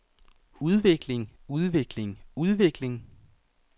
udvikling udvikling udvikling